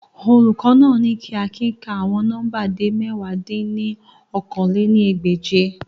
Olukọ naa ni ki Akin ka awọn nọmba de mẹ̀wá dín ní okòó-lé-ní-ẹgbẹ́je